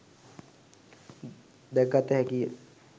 දැකගත හැකිය.